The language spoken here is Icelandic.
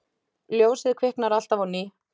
Ljósið kviknar alltaf á ný.